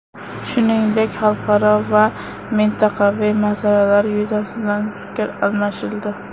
Shuningdek, xalqaro va mintaqaviy masalalar yuzasidan fikr almashildi.